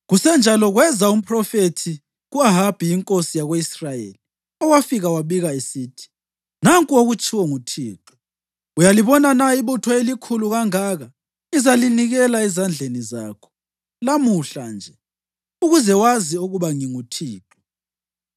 Kusenjalo kweza umphrofethi ku-Ahabi inkosi yako-Israyeli owafika wabika esithi, “Nanku okutshiwo nguThixo: ‘Uyalibona na ibutho elikhulu kangaka? Ngizalinikela ezandleni zakho lamuhla nje, ukuze wazi ukuba nginguThixo.’ ”